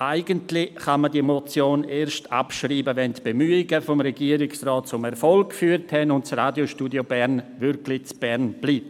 Eigentlich kann man diese Motion erst abschreiben, wenn die Bemühungen des Regierungsrats zum Erfolg geführt haben und das Radiostudio Bern wirklich in Bern bleibt.